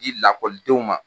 di lakɔlidenw ma.